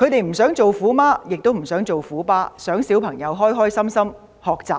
因為他們不想做"虎媽"或"虎爸"，只想子女開心學習。